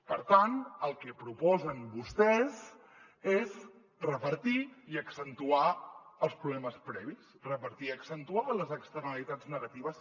per tant el que proposen vostès és repartir i accentuar els problemes previs repartir i accentuar les externalitats negatives